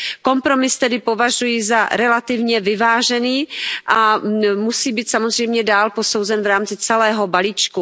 Kompromis tedy považuji za relativně vyvážený a musí být samozřejmě dál posouzen v rámci celého balíčku.